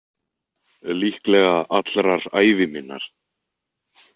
Líklega allrar ævi minnar.